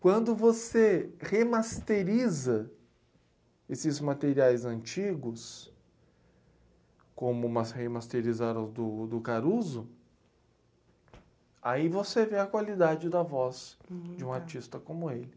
Quando você remasteriza esses materiais antigos, como mas, remasterizaram o do do Caruso, aí você vê a qualidade da voz de um artista como ele.